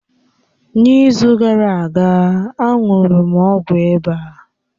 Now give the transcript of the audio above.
N’izu gara aga, a ṅụrụ m ọgwụ ịba